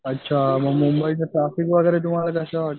अच्छा मग मुंबईच ट्राफिक वगैरे तुम्हाला कसं वाटंत?